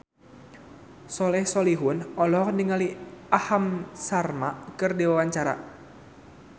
Soleh Solihun olohok ningali Aham Sharma keur diwawancara